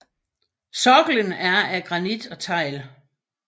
Sokkelen er af granit og tegl